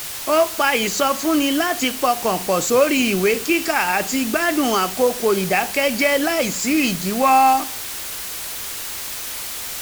ó pa ìsọfúnni um láti pọkàn pọ̀ sórí ìwé kíkà um àti gbádùn àkókò ìdàkẹ́jẹ́ láìsí ìdíwọ́